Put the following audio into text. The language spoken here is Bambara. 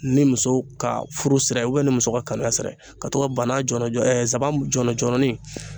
Ni muso ka furu sira ye ni muso ka kaniya sira ka to ka bana jɔlɔjɔ nsaban jɔlɔjɔlɔnin